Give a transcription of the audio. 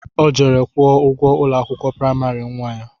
Ọ jere kwuo ụgwọ ụlọ akwụkwọ praịmarị nnwa ya